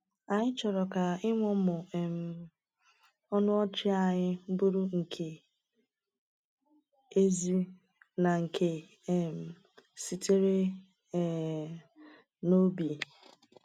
Anyị chọrọ ka ịmụmụ um ọnụ ọchị anyị bụrụ nke ezi na nke um sitere um n’obi.